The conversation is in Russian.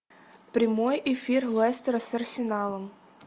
прямой эфир лестера с арсеналом